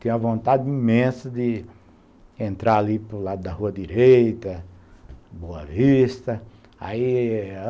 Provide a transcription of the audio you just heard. Tinha vontade imensa de entrar ali para o lado da rua direita, Boa Vista. Aí